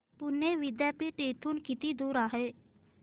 पुणे विद्यापीठ इथून किती दूर आहे